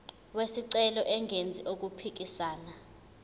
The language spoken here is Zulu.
wesicelo engenzi okuphikisana